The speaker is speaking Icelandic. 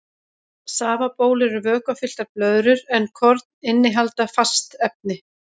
Safabólur eru vökvafylltar blöðrur en korn innihalda fast efni.